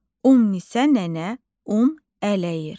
Ümnisə nənə un ələyir.